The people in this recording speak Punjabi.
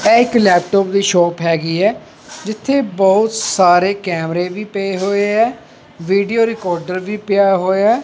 ਐ ਇੱਕ ਲੈਪਟੋਪ ਦੀ ਸ਼ੋਪ ਹੈਗੀ ਹੈ ਜਿੱਥੇ ਬਹੁਤ ਸਾਰੇ ਕੈਮਰੇ ਵੀ ਪਏ ਹੋਏ ਐ ਵੀਡੀਓ ਰਿਕਾਰਡਰ ਵੀ ਪਿਆ ਹੋਇਆ ਐ।